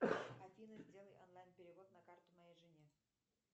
афина сделай онлайн перевод на карту моей жене